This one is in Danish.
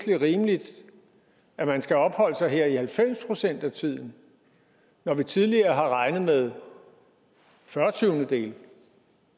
er rimeligt at man skal opholde sig her i halvfems procent af tiden når vi tidligere har regnet med fyrretyvendedele